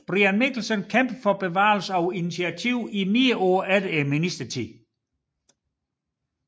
Brian Mikkelsen kæmpede for bevarelsen af initiativet i flere år efter ministertiden